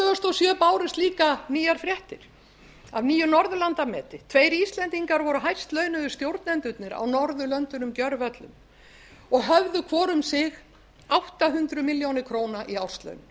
sjö bárust líka nýjar fréttir af nýju norðurlandameti tveir íslendingar voru hæstlaunuðu stjórnendurnir á norðurlöndunum gjörvöllum og höfðu hvor um sig átta hundruð milljóna króna í árslaun